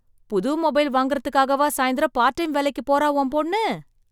புது மொபைல் வாங்கறதுக்காகவா சாயந்திரம் பார்ட் டைம் வேலைக்கு போறா உன் பொண்ணு?